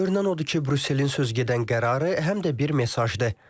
Görünən odur ki, Brüsselin sözügedən qərarı həm də bir mesajdır.